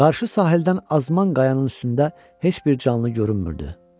Qarşı sahildən azman qayanın üstündə heç bir canlı görünmürdü.